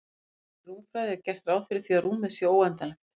Í venjulegri rúmfræði er gert ráð fyrir því að rúmið sé óendanlegt.